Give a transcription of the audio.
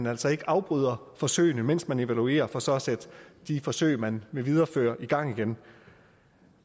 altså ikke afbryder forsøgene mens man evaluerer for så at sætte de forsøg man vil videreføre i gang igen